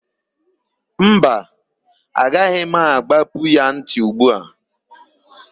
Mba, agaghị m àgbápú ya ntị ugbu a.